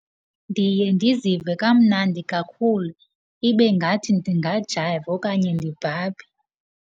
Ndiye ndizive kamnandi kakhulu, ibe ngathi ndingajayiva okanye ndibhabhe.